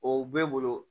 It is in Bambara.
O bɛ n bolo